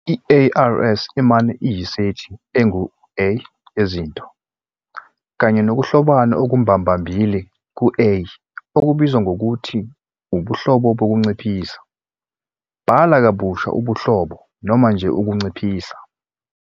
I-ARS imane iyisethi engu- "A" yezinto, kanye nokuhlobana okumbambambili → ku- "A" okubizwa ngokuthi "ubuhlobo bokunciphisa", "bhala kabusha ubuhlobo" noma nje "ukunciphisa".